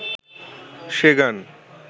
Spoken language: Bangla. সে গান